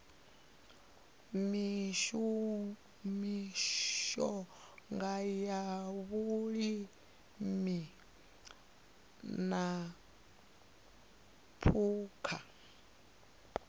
mishonga ya vhulimi na phukha